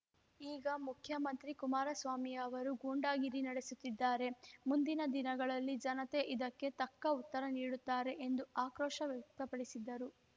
ಈಗ ಮುಖ್ಯಮಂತ್ರಿ ಕುಮಾರಸ್ವಾಮಿ ಅವರು ಗೂಂಡಾಗಿರಿ ನಡೆಸುತ್ತಿದ್ದಾರೆ ಮುಂದಿನ ದಿನಗಳಲ್ಲಿ ಜನತೆ ಇದಕ್ಕೆ ತಕ್ಕ ಉತ್ತರ ನೀಡುತ್ತಾರೆ ಎಂದು ಆಕ್ರೋಶ ವ್ಯಕ್ತಪಡಿಸಿದ್ದರು